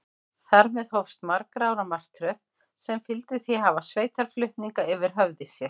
Þar með hófst margra ára martröð, sem fyldi því að hafa sveitarflutninga yfir höfði sér.